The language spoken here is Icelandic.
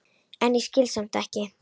en ég skil samt ekki.